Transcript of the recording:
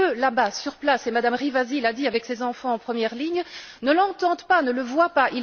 Mais eux, là bas, sur place et Mme Rivasi l'a dit avec ses enfants en première ligne ne l'entendent pas, ne le voient pas.